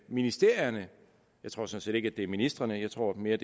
ministerierne jeg tror sådan ikke at det er ministrene jeg tror det mere